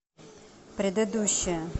предыдущая